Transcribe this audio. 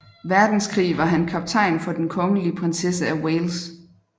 Verdenskrig var han kaptajn for Den Kongelige Prinsesse af Wales